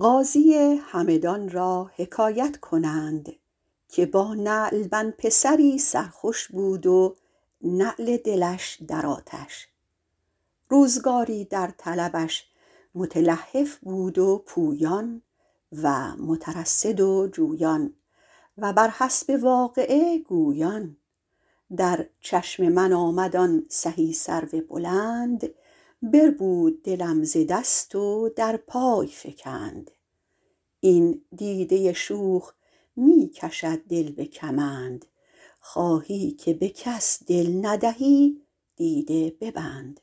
قاضی همدان را حکایت کنند که با نعلبند پسری سر خوش بود و نعل دلش در آتش روزگاری در طلبش متلهف بود و پویان و مترصد و جویان و بر حسب واقعه گویان در چشم من آمد آن سهی سرو بلند بربود دلم ز دست و در پای فکند این دیده شوخ می کشد دل به کمند خواهی که به کس دل ندهی دیده ببند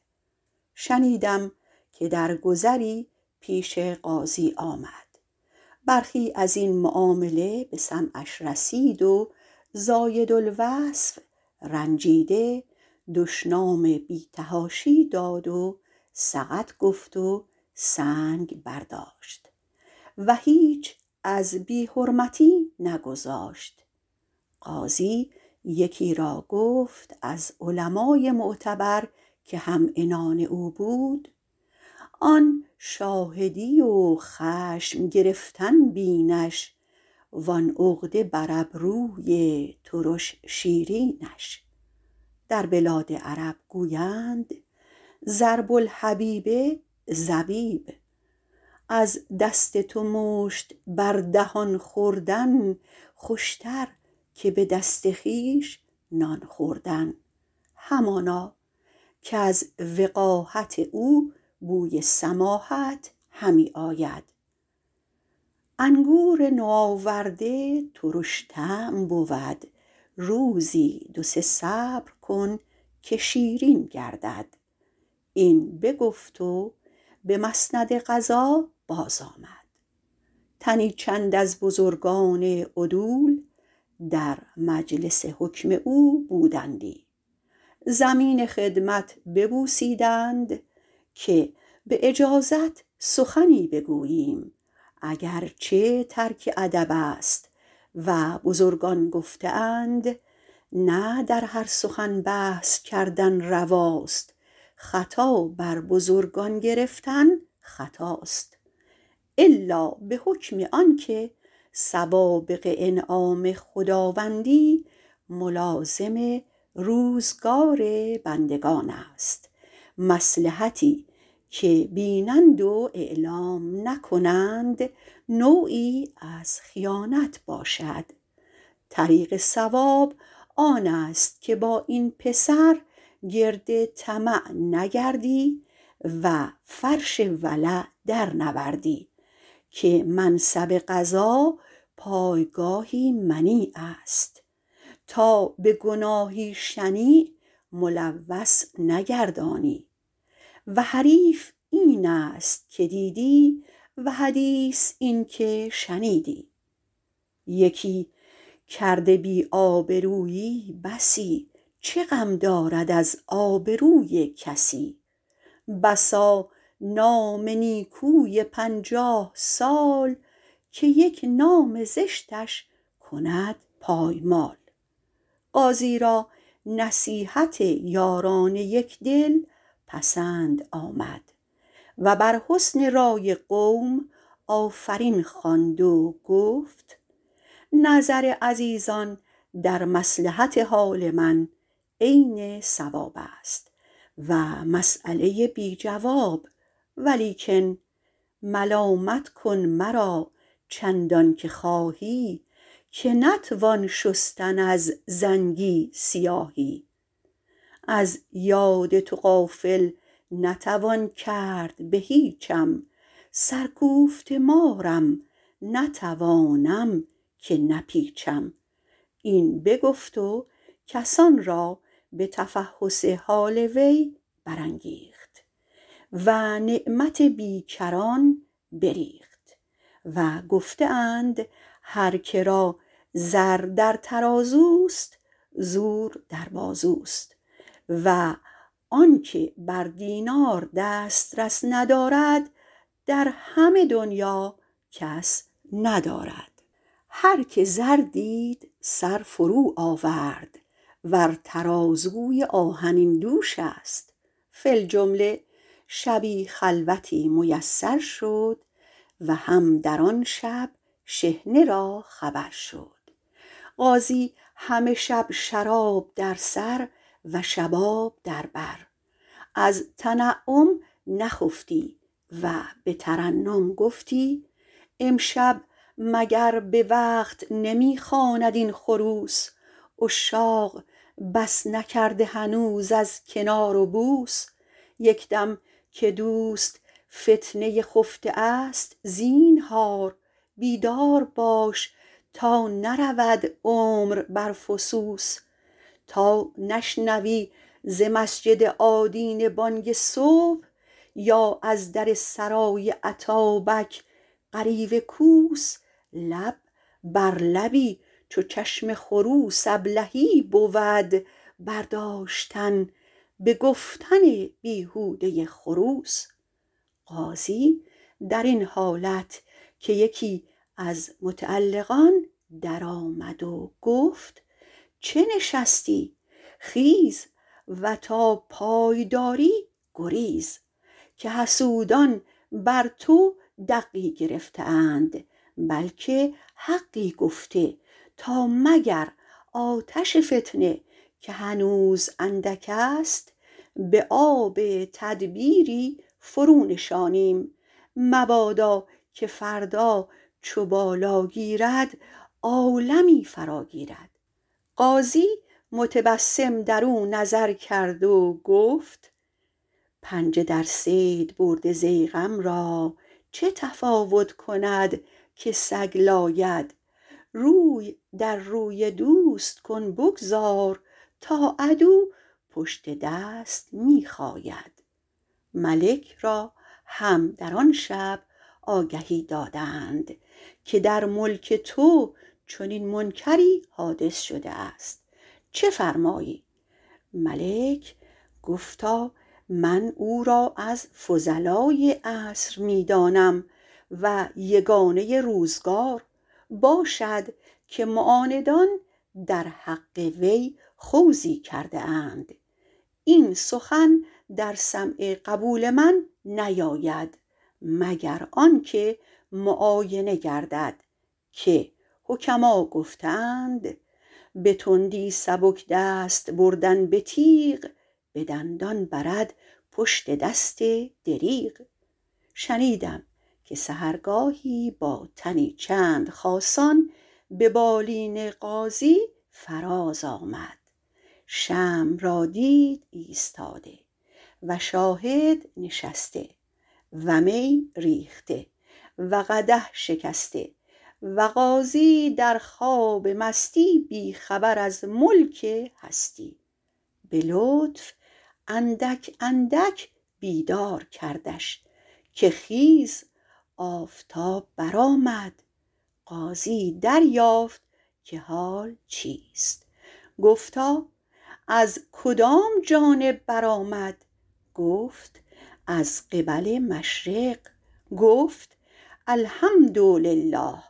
شنیدم که در گذری پیش قاضی آمد برخی از این معامله به سمعش رسیده و زایدالوصف رنجیده دشنام بی تحاشی داد و سقط گفت و سنگ برداشت و هیچ از بی حرمتی نگذاشت قاضی یکی را گفت از علمای معتبر که هم عنان او بود آن شاهدی و خشم گرفتن بینش و آن عقده بر ابروی ترش شیرینش در بلاد عرب گویند ضرب الحبیب زبیب از دست تو مشت بر دهان خوردن خوش تر که به دست خویش نان خوردن همانا کز وقاحت او بوی سماحت همی آید انگور نوآورده ترش طعم بود روزی دو سه صبر کن که شیرین گردد این بگفت و به مسند قضا باز آمد تنی چند از بزرگان عدول در مجلس حکم او بودندی زمین خدمت ببوسیدند که به اجازت سخنی بگوییم اگر چه ترک ادب است و بزرگان گفته اند نه در هر سخن بحث کردن رواست خطا بر بزرگان گرفتن خطاست الا به حکم آن که سوابق انعام خداوندی ملازم روزگار بندگان است مصلحتی که بینند و اعلام نکنند نوعی از خیانت باشد طریق صواب آن است که با این پسر گرد طمع نگردی و فرش ولع در نوردی که منصب قضا پایگاهی منیع است تا به گناهی شنیع ملوث نگردانی و حریف این است که دیدی و حدیث این که شنیدی یکی کرده بی آبرویی بسی چه غم دارد از آبروی کسی بسا نام نیکوی پنجاه سال که یک نام زشتش کند پایمال قاضی را نصیحت یاران یکدل پسند آمد و بر حسن رای قوم آفرین خواند و گفت نظر عزیزان در مصلحت حال من عین صواب است و مسیله بی جواب ولیکن ملامت کن مرا چندان که خواهی که نتوان شستن از زنگی سیاهی از یاد تو غافل نتوان کرد به هیچم سر کوفته مارم نتوانم که نپیچم این بگفت و کسان را به تفحص حال وی برانگیخت و نعمت بیکران بریخت و گفته اند هر که را زر در ترازوست زور در بازوست و آن که بر دینار دسترس ندارد در همه دنیا کس ندارد هر که زر دید سر فرو آورد ور ترازوی آهنین دوش است فی الجمله شبی خلوتی میسر شد و هم در آن شب شحنه را خبر شد قاضی همه شب شراب در سر و شباب در بر از تنعم نخفتی و به ترنم گفتی امشب مگر به وقت نمی خواند این خروس عشاق بس نکرده هنوز از کنار و بوس یک دم که دوست فتنه خفته است زینهار بیدار باش تا نرود عمر بر فسوس تا نشنوی ز مسجد آدینه بانگ صبح یا از در سرای اتابک غریو کوس لب بر لبی چو چشم خروس ابلهی بود برداشتن به گفتن بیهوده خروس قاضی در این حالت که یکی از متعلقان در آمد و گفت چه نشستی خیز و تا پای داری گریز که حسودان بر تو دقی گرفته اند بلکه حقی گفته تا مگر آتش فتنه که هنوز اندک است به آب تدبیری فرو نشانیم مبادا که فردا چو بالا گیرد عالمی فرا گیرد قاضی متبسم در او نظر کرد و گفت پنجه در صید برده ضیغم را چه تفاوت کند که سگ لاید روی در روی دوست کن بگذار تا عدو پشت دست می خاید ملک را هم در آن شب آگهی دادند که در ملک تو چنین منکری حادث شده است چه فرمایی ملک گفتا من او را از فضلای عصر می دانم و یگانه روزگار باشد که معاندان در حق وی خوضی کرده اند این سخن در سمع قبول من نیاید مگر آنگه که معاینه گردد که حکما گفته اند به تندی سبک دست بردن به تیغ به دندان برد پشت دست دریغ شنیدم که سحرگاهی با تنی چند خاصان به بالین قاضی فراز آمد شمع را دید ایستاده و شاهد نشسته و می ریخته و قدح شکسته و قاضی در خواب مستی بی خبر از ملک هستی به لطف اندک اندک بیدار کردش که خیز آفتاب برآمد قاضی دریافت که حال چیست گفتا از کدام جانب برآمد گفت از قبل مشرق گفت الحمد لله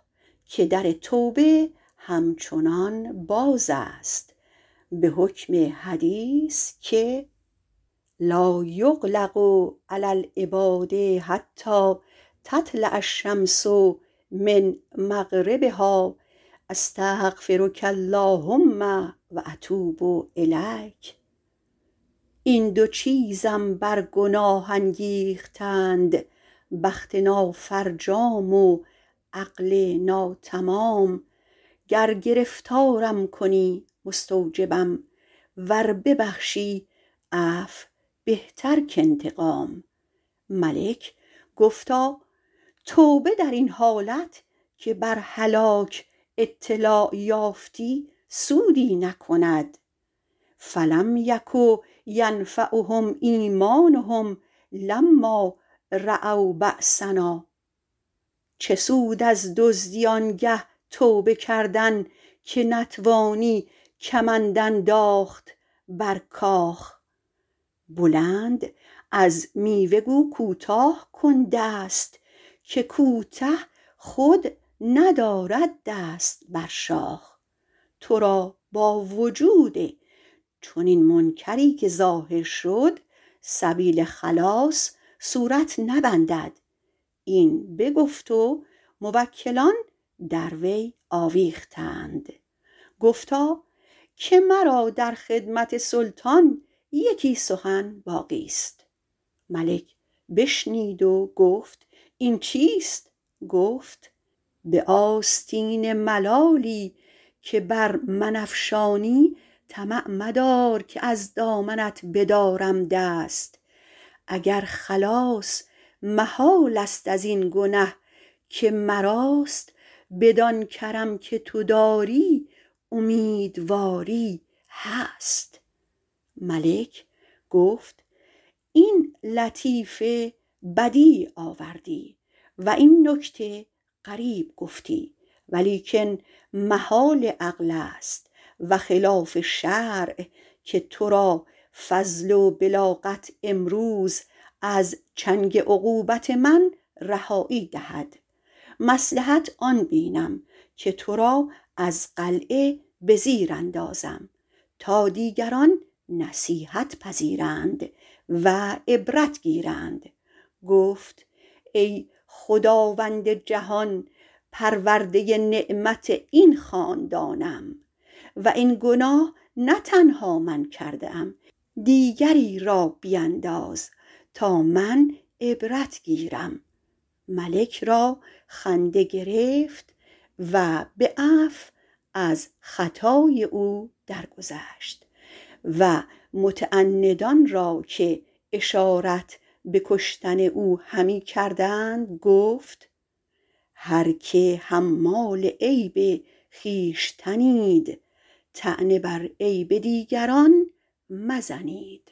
که در توبه همچنان باز است به حکم حدیث که لایغلق علی العباد حتی تطلع الشمس من مغربها استغفرک اللهم و اتوب الیک این دو چیزم بر گناه انگیختند بخت نافرجام و عقل ناتمام گر گرفتارم کنی مستوجبم ور ببخشی عفو بهتر کانتقام ملک گفتا توبه در این حالت که بر هلاک اطلاع یافتی سودی نکند فلم یک ینفعهم ایمانهم لما رأوا بأسنا چه سود از دزدی آنگه توبه کردن که نتوانی کمند انداخت بر کاخ بلند از میوه گو کوتاه کن دست که کوته خود ندارد دست بر شاخ تو را با وجود چنین منکری که ظاهر شد سبیل خلاص صورت نبندد این بگفت و موکلان در وی آویختند گفتا که مرا در خدمت سلطان یکی سخن باقی ست ملک بشنید و گفت این چیست گفت به آستین ملالی که بر من افشانی طمع مدار که از دامنت بدارم دست اگر خلاص محال است از این گنه که مراست بدان کرم که تو داری امیدواری هست ملک گفت این لطیفه بدیع آوردی و این نکته غریب گفتی ولیکن محال عقل است و خلاف شرع که تو را فضل و بلاغت امروز از چنگ عقوبت من رهایی دهد مصلحت آن بینم که تو را از قلعه به زیر اندازم تا دیگران نصیحت پذیرند و عبرت گیرند گفت ای خداوند جهان پرورده نعمت این خاندانم و این گناه نه تنها من کرده ام دیگری را بینداز تا من عبرت گیرم ملک را خنده گرفت و به عفو از خطای او در گذشت و متعندان را که اشارت به کشتن او همی کردند گفت هر که حمال عیب خویشتنید طعنه بر عیب دیگران مزنید